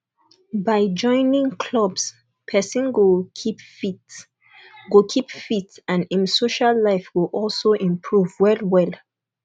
by joining clubs person go keep fit go keep fit and im social life go also improve well well